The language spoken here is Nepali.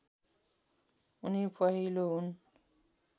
उनी पहिलो हुन्